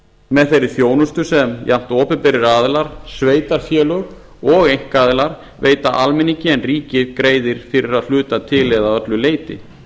með þeirri þjónustu sem jafnt opinberir aðilar sveitarfélög og einkaaðilar veita almenningi en ríkið greiðir fyrir að hluta til eða að öllu leyti